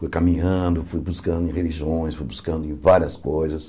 Fui caminhando, fui buscando religiões, fui buscando em várias coisas.